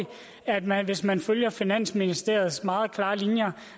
at man hvis man følger finansministeriets meget klare linjer